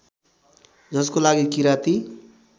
जसको लागि किराती